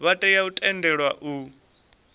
vha tea u tendelwa u